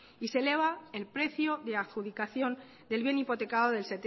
y se eleva el precio de adjudicación del bien hipotecado del